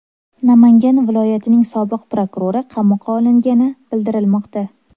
Namangan viloyatining sobiq prokurori qamoqqa olingani bildirilmoqda.